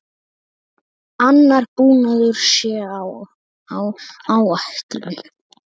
Annar búnaður sé á áætlun.